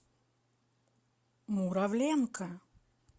муравленко